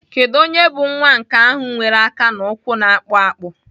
Kedu onye bụ nwa nke ahụ nwere aka na ụkwụ na-akpụ akpụ?